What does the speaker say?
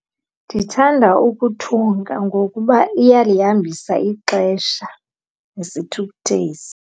Ndithanda ukuthunga ngokuba iyalihambisa ixesha nesithukuthezi.